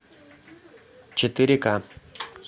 четыре ка